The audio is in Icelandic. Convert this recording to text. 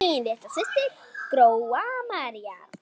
Þín litla systir, Gróa María.